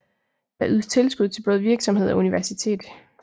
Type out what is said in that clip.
Der ydes tilskud til både virksomhed og universitet